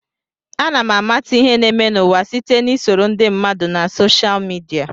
Ana m amata ihe na-eme n'ụwa site na isoro ndị mmadụ na soshal midia.